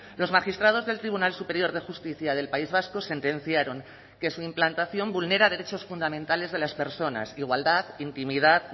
los magistrados del tribunal superior de justicia del país vasco sentenciaron que su implantación vulnera derechos fundamentales de las personas igualdad intimidad